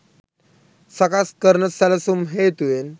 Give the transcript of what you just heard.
සකස් කරන සැලැසුම් හේතුවෙන්